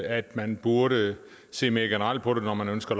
at man burde se mere generelt på det når man ønsker